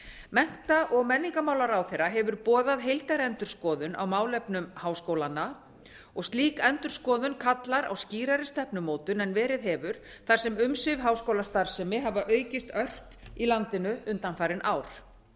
mennta og menningarmálaráðherra hefur boðað heildarendurskoðun á málefnum háskólanna slík endurskoðun kallar á skýrari stefnumótun en verið hefur þar sem umsvif háskólastarfsemi hafa aukist ört í landinu undanfarin ár